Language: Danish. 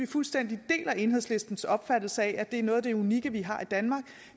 fuldstændig enhedslistens opfattelse af at det er noget af det unikke vi har i danmark